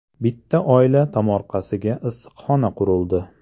Bitta oila tomorqasiga issiqxona qurildi.